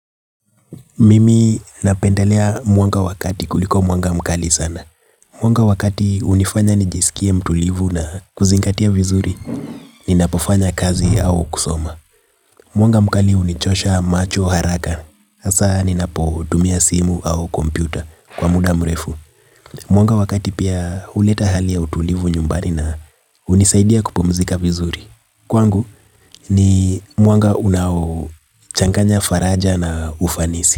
Mimi napendelea mwanga wakati kuliko mwanga mkali sana. Mwanga wa kati unifanya nijisikia mtulivu na kuzingatia vizuri. Ninapofanya kazi au kusoma. Mwanga mkali unichosha macho haraka. Hasa ninapo tumia simu au kompyuta kwa muda mrefu. Mwanga wa kati pia, uleta hali ya utulivu nyumbari na. Hunisaidia kupumzika vizuri. Kwangu ni mwanga unao changanya faraja na ufanisi.